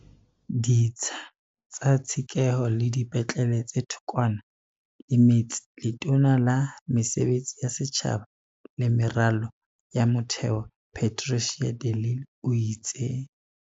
Ditsha tsa tshekeho le dipetlele tse thokwana le metse Letona la Mesebetsi ya Setjhaba le Meralo ya Motheo Patricia de Lille o itse.